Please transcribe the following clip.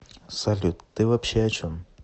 салют ты вообще о чем